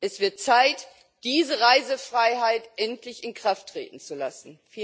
Es wird Zeit, diese Reisefreiheit endlich in Kraft treten zu lassen.